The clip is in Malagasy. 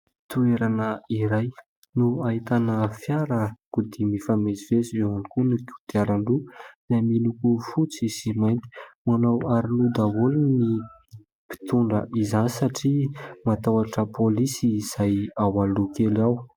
Toerana iray no ahitana fiarakodia mifamezivezy ; eo ihany koa ny kodiaran-droa dia miloko fotsy sy mainty. Manao aroloha daholo ny mpitondra izany satria matahotra pôlisy izay ao aloha kely ao.